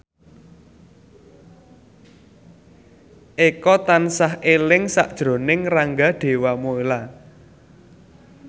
Eko tansah eling sakjroning Rangga Dewamoela